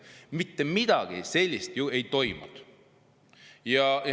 Mitte midagi sellist ei toimunud!